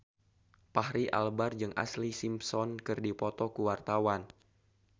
Fachri Albar jeung Ashlee Simpson keur dipoto ku wartawan